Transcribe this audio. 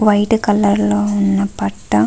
white colour లో ఉన్న పట్టా --